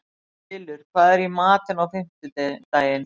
Bylur, hvað er í matinn á fimmtudaginn?